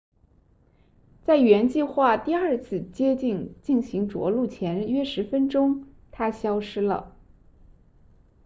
在原计划第二次接近进行着陆前约十分钟它消失了